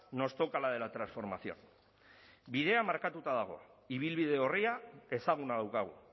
nos toca la de la transformación bidea markatuta dago ibilbide orria ezaguna daukagu